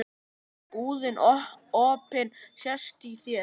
Búðin opin sést á þér.